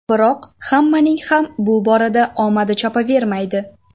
Biroq hammaning ham bu borada omadi chopavermaydi.